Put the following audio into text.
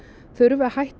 þurfi að hætta